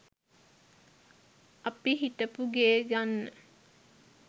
අපි හිටපු ගේ ගන්න